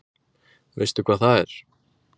Veistu hvað það er?